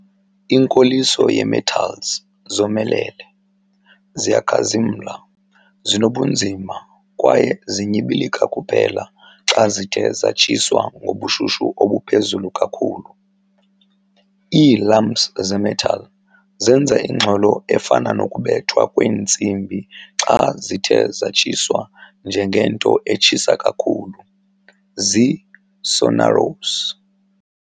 Inkoliso yee-metals zomelele, ziyakhazimla, zinobunzima kwaye zinyibilika kuphela xa zithe zatshiswa ngobushushu obuphezulu kakhulu. Ii-lumps ze-metal zenza ingxolo efana nokubethwa kwentsimbi xa zithe zatshiswa ngengento etshisa kakhulu, zi-sonorous.